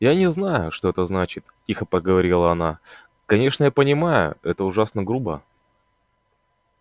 я не знаю что это значит тихо проговорила она конечно я понимаю это ужасно грубо